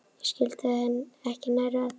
Ég skildi þau ekki nærri öll.